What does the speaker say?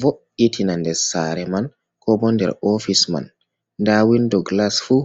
vo'itina ndes saare man, ko bo nder ofis man, nda windo gilas fuu.